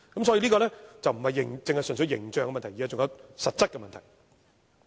所以，這並非純粹是形象問題，還有實質的問題。